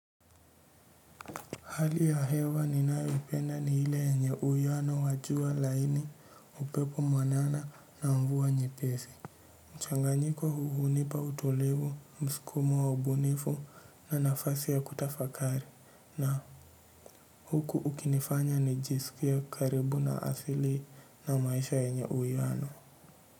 Hali ya hewa ni nayopenda ni ile yenye miale ya wa jua laini upepo mwanana na mvua nyepesi. Mchanganyiko huu hunipa utulivu, mskumo wa ubunifu na nafasi ya kutafakari na huku ukinifanya nijisikia karibu na asili na maisha yenye uwiano.